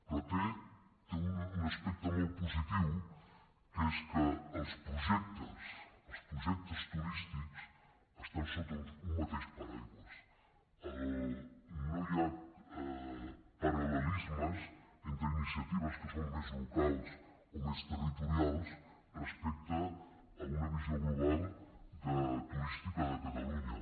però té un aspecte molt positiu que és que els projectes turístics estan sota un mateix paraigua no hi ha paral·lelismes entre iniciatives que són més locals o més territorials respecte a una visió global turística de catalunya